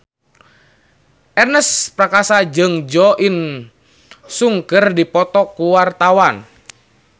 Ernest Prakasa jeung Jo In Sung keur dipoto ku wartawan